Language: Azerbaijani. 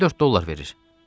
Həftədə dörd dollar verir.